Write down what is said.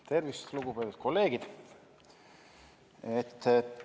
Tervist, lugupeetud kolleegid!